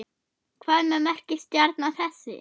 Hvað merkir stjarna þessi?